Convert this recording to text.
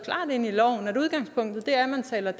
ind i loven at udgangspunktet er at man taler